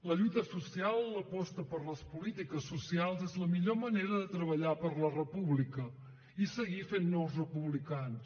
la lluita social l’aposta per les polítiques socials és la millor manera de treballar per la república i seguir fent nous republicans